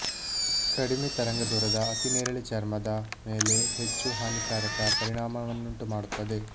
ಕಡಿಮೆ ತರಂಗದೂರದ ಅತಿನೇರಿಳೆ ಚರ್ಮದ ಮೇಲೆ ಹೆಚ್ಚು ಹಾನಿಕಾರಕ ಪರಿಣಾಮವನ್ನುಂಟುಮಾಡುತ್ತದೆ